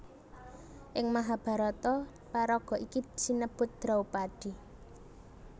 Ing Mahabharata paraga iki sinebut Draupadi